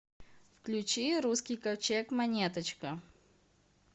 включи русский ковчег монеточка